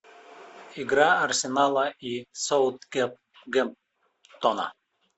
игра арсенала и саутгемптона